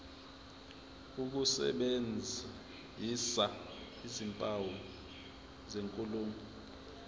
ukusebenzisa izimpawu zenkulumo